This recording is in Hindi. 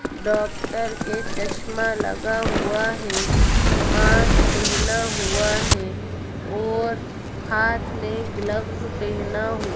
डॉक्टर के चश्मा लगा हुआ है। मास्क पहना हुआ है और हाथ में ग्लव्स पहना हु --